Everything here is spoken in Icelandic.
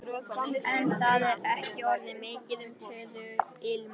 En það er ekki orðið mikið um töðuilm.